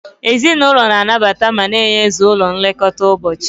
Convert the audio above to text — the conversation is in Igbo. Ezinụlọ na-anabata ma na-eyuzu ụlọ nlekọta ụbọchị.